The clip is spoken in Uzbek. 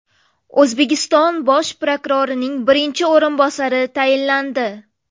O‘zbekiston bosh prokurorining birinchi o‘rinbosari tayinlandi.